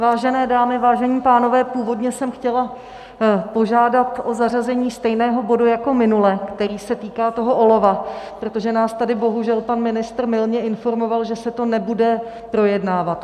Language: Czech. Vážené dámy, vážení pánové, původně jsem chtěla požádat o zařazení stejného bodu jako minule, který se týkal toho olova, protože nás tady bohužel pan ministr mylně informoval, že se to nebude projednávat.